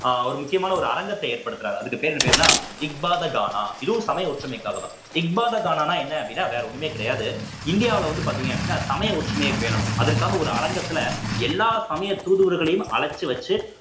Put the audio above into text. அஹ் ஒரு முக்கியமான ஒரு அரங்கத்தை ஏற்படுத்துறார் அதுக்கு பேரு என்ன பேருன்னா இஃ பாதர் கானா இதுவும் சமய ஒற்றுமைக்காகத்தான் இஃ பாதர் கானானா என்ன அப்படின்னா வேற ஒண்ணுமே கிடையாது இந்தியாவுல வந்து பார்த்தீங்க அப்படின்னா சமய ஒற்றுமையை பேணணும் அதற்காக ஒரு அரங்கத்துல எல்லா சமய தூதுவர்களையும் அழைச்சு வச்சு